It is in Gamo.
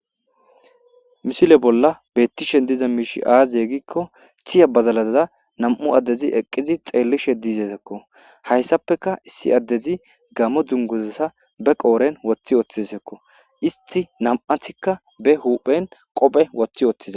Mishile bolla bettishen diza miishi aaziye gikko tiya bazalaza nam'u addezi eqqizi xeellishe diizezekko hayssapeka issi addezi gammo dunguzassa be qooren woththi ooththizsekko isti nam'athikka be huphen qophe woththi ooththiza.